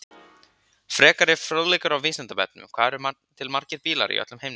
Frekari fróðleikur á Vísindavefnum: Hvað eru til margir bílar í öllum heiminum?